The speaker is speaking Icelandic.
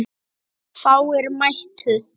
Fáir mættu.